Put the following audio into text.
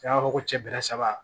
An b'a fɔ ko cɛ bɛrɛ saba